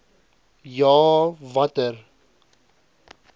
ja a watter